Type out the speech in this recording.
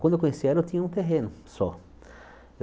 Quando eu conheci ela, eu tinha um terreno só.